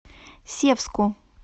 севску